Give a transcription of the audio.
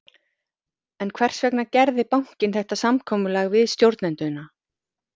En hvers vegna gerði bankinn þetta samkomulag við stjórnendurna?